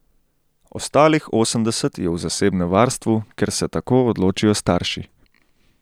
Ostalih osemdeset je v zasebnem varstvu, ker se tako odločijo starši.